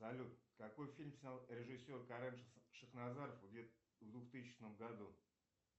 салют какой фильм снял режиссер карен шахназаров в двухтысячном году